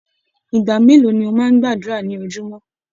Ìgbà mélòó ni o máa n gbàdúrà ni ojúmọ́?